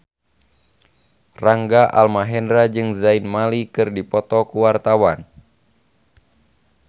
Rangga Almahendra jeung Zayn Malik keur dipoto ku wartawan